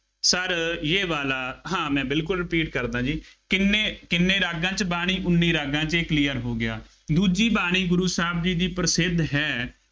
sir ਯੇਹ ਵਾਲਾ, ਹਾਂ ਮੈਂ ਬਿਲਕੱਲ repeat ਕਰਦਾ ਜੀ, ਕਿੰਨੇ, ਕਿੰਨੇ ਰਾਗਾਂ ਚ ਬਾਣੀ, ਉੱਨੀ ਰਾਗਾਂ ਚ, ਇਹ clear ਹੋ ਗਿਆ, ਦੂਜੀ ਬਾਣੀ ਗੁਰੂ ਸਾਹਿਬ ਦੀ ਪ੍ਰਸਿੱਧ ਹੈ